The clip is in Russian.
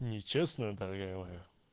нечестно дорогая моя